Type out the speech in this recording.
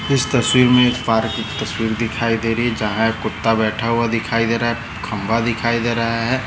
इस तस्वीर मे एक पार्क की तस्वीर दिखाई दे रही है जहा एक कुत्ता बैठ हुआ दिखाई दे रहा है खंबा दिखाई दे रहा हैं।